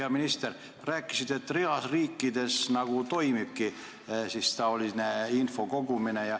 Hea minister, rääkisite, et reas riikides toimubki taoline info kogumine.